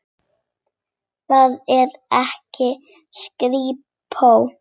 Þar var ekta skrípó.